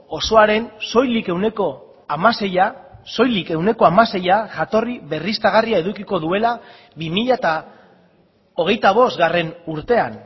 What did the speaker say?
osoaren soilik ehuneko hamaseia soilik ehuneko hamaseia jatorri berriztagarria edukiko duela bi mila hogeita bost urtean